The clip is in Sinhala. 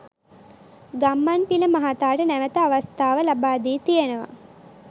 ගම්මන්පිල මහතාට නැවත අවස්ථාව ලබාදී තියෙනවා.